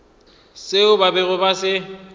seo ba bego ba se